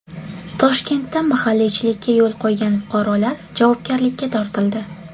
Toshkentda mahalliychilikka yo‘l qo‘ygan fuqarolar javobgarlikka tortildi .